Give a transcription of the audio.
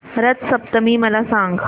रथ सप्तमी मला सांग